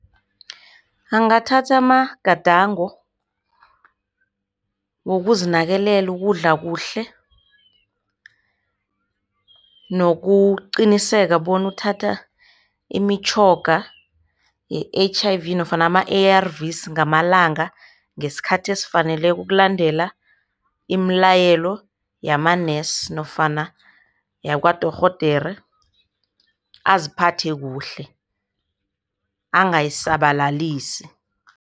Angathatha amagadango ngokuzinakekela, ukudla kuhle nokuqinisekisa bona uthatha imitjhoga ye-H_I_V nofana ama-A_R_Vs ngamalanga ngesikhathi esifaneleko ukulandela imilayelo yamanesi nofana yakwadorhodere aziphathe kuhle, angayisabalalisi.